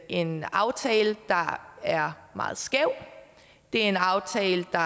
en aftale der er meget skæv det er en aftale der